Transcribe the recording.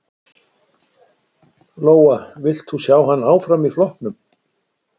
Lóa: Vilt þú sjá hann áfram í flokknum?